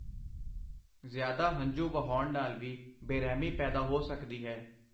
ਜ਼ਿਆਦਾ ਹੰਝੂ ਵਹਾਉਣ ਨਾਲ ਵੀ ਬੇਰਹਿਮੀ ਪੈਦਾ ਹੋ ਸਕਦੀ ਹੈ।